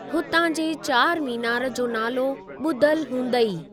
हुतां जे चारमीनार जो नालो ॿुधलु हूंदई।